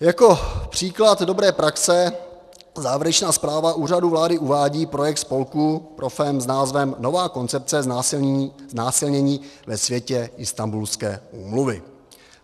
Jako příklad dobré praxe závěrečná zpráva Úřadu vlády uvádí projekt spolku proFem s názvem Nová koncepce znásilnění ve světle Istanbulské úmluvy.